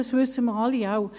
Das wissen wir alle.